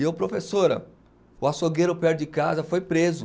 E eu, professora, o açougueiro perto de casa foi preso.